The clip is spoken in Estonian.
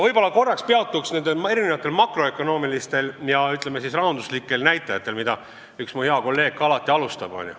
Ma korraks peatun erinevatel makroökonoomilistel ja, ütleme siis, rahanduslikel näitajatel, millest üks mu hea kolleeg alati alustab.